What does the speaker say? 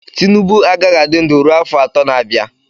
Tinubu agaghị adị ndụ ruo afọ atọ na-abịa.